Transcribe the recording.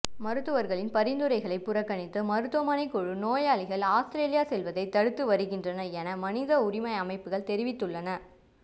மருத்துவர்களின் பரிந்துரைகளை புறக்கணித்து மருத்துவமனைமனை குழு நோயாளிகள் அவுஸ்திரேலியா செல்வதை தடுத்து வருகின்றது என மனித உரிமை அமைப்புகள் தெரிவித்துள்ளன